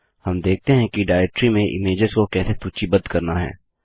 हम देखते हैं कि डाइरेक्टरी में इमेज्स को कैसे सूचीबद्ध करना है